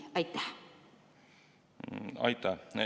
Aitäh!